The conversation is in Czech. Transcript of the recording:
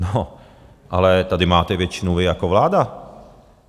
No ale tady máte většinu vy jako vláda.